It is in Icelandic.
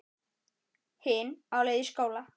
Hin á leið í skóla.